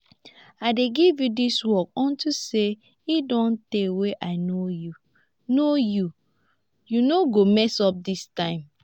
i dey give you dis work unto say e don tey wey i know you no know you no mess up dis time